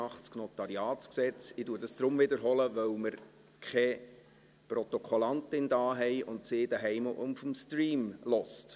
Ich sage dies deshalb, weil wir keine Protokollführerin im Saal haben und sie zu Hause über den Stream mithört.